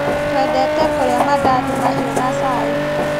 Twendete kũrĩa mandathi mahiũ na cai.